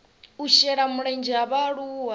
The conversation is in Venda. u shela mulenzhe ha vhaaluwa